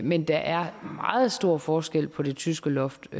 men der er meget stor forskel på det tyske loft